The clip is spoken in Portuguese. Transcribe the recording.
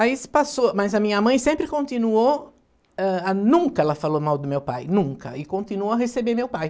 Aí se passou, mas a minha mãe sempre continuou, ãh, nunca ela falou mal do meu pai, nunca, e continuou a receber meu pai.